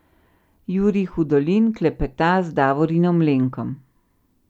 Jurij Hudolin klepeta z Davorinom Lenkom.